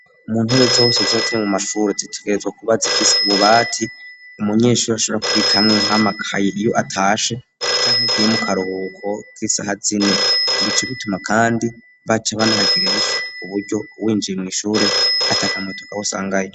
Mu ntebe zose zibaziri mu mashuri zitegerezwa kuba zifise ububati umunyeshuri ashobora kubikamwe nk'amakayi iyo atashe canke agiye mu karuhuko k'isaha zine bico bituma kandi bace banahagirira n'isuku uburyo winjiye mu ishure atakamoto kabi usangayeyo.